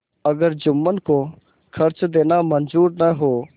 अगर जुम्मन को खर्च देना मंजूर न हो